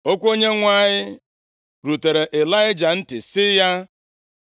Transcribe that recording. Okwu Onyenwe anyị rutere Ịlaịja ntị, sị ya,